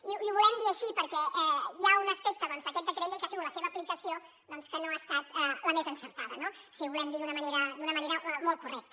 i ho volem dir així perquè hi ha un aspecte d’aquest decret llei que ha sigut la seva aplicació que no ha estat la més encertada no si ho volem dir d’una manera molt correcta